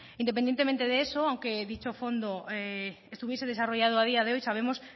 independientemente de eso aunque dicho fondo estuviese desarrollado a día de hoy sabemos